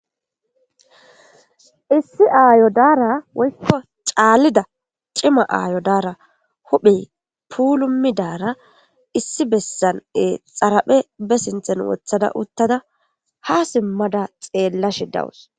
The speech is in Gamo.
Issi ayo dara woyko c'alida c'ima huphey puulumida ayo daara issi bessan xaraphe ba sinthan wothada ha sima xeelashe dawus.